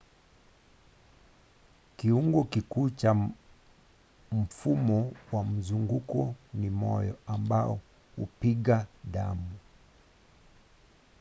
kiungo kikuu cha mfumo wa mzunguko ni moyo ambao hupiga damu